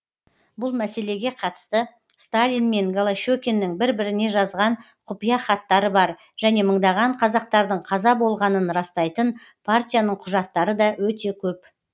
бұл мәселеге қатысты сталин мен голощекиннің бір біріне жазған құпия хаттары бар және мыңдаған қазақтардың қаза болғанын растайтын партияның құжаттары да өте көп